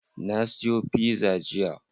Na siyo pizza jiya?